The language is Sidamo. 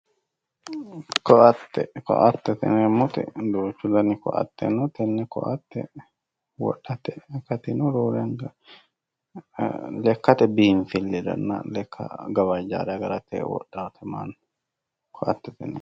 Ko'ate ko'atete yineemmoti duuchu Dani ko'ate no tenne ko'ate wodhate akati no roore anga lekate biinfilliranna lekka gawajjaare agarate wodhate mannu ko'atete yineemmo.